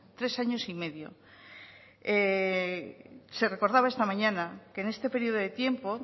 tres años y medio se recordaba esta mañana que en este periodo de tiempo